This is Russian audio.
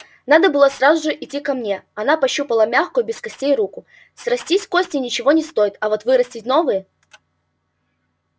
надо было сразу же идти ко мне она пощупала мягкую без костей руку срастить кости ничего не стоит а вот вырастить новые